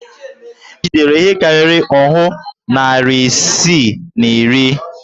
È jidere ihe karịrị òhú narị isii na iri?